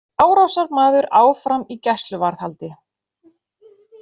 Árásarmaður áfram í gæsluvarðhaldi